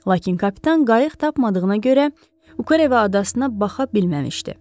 Lakin kapitan qayıq tapmadığına görə Ukereva adasına baxa bilməmişdi.